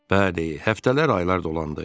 Bəli, həftələr, aylar dolandı.